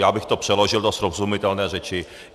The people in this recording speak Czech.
Já bych to přeložil do srozumitelné řeči.